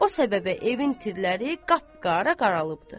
O səbəbə evin tirləri qapqara qaralıbdır.